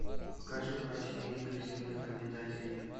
покажи брачные игры земных обитателей